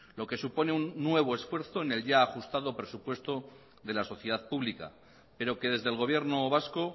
lo que supone un nuevo esfuerzo en el ya ajustado presupuesto de la sociedad pública pero que desde el gobierno vasco